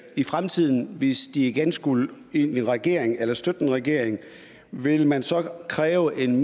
i fremtiden hvis de igen skulle ind i en regering eller støtte en regering ville man så kræve en